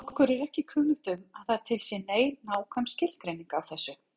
Okkur er ekki kunnugt um að til sé nein nákvæm skilgreining á þessu.